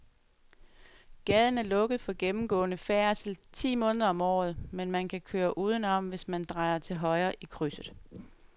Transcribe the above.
Gaden er lukket for gennemgående færdsel ti måneder om året, men man kan køre udenom, hvis man drejer til højre i krydset.